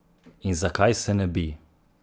In zakaj se ne bi?